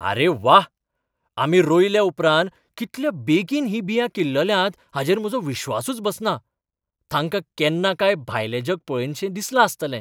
आरे वा, आमी रोयल्या उपरांत कितल्या बेगीन हीं बियां किल्लल्यांत हाचेर म्हजो विस्वासूच बसना. तांका केन्ना काय भायलें जग पळयनशें दिसलां आसतलें!